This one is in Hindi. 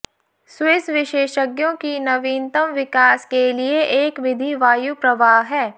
स्विस विशेषज्ञों की नवीनतम विकास के लिए एक विधि वायु प्रवाह है